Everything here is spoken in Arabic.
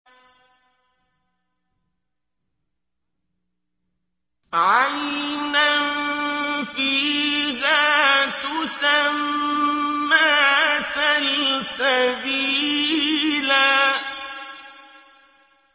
عَيْنًا فِيهَا تُسَمَّىٰ سَلْسَبِيلًا